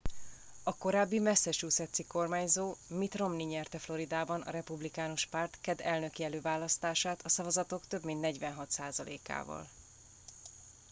a korábbi massachusettsi kormányzó mitt romney nyerte floridában a republikánus párt keddi elnöki előválasztását a szavazatok több mint 46 százalékával